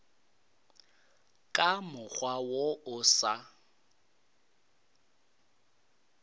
ka mokgwa wo o sa